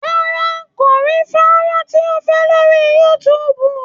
Rárá, kò rí fónrán tí ó fẹ́ lórí youtube.